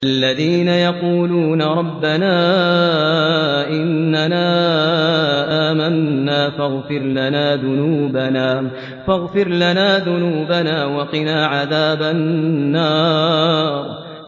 الَّذِينَ يَقُولُونَ رَبَّنَا إِنَّنَا آمَنَّا فَاغْفِرْ لَنَا ذُنُوبَنَا وَقِنَا عَذَابَ النَّارِ